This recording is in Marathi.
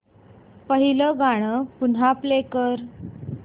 पहिलं गाणं पुन्हा प्ले कर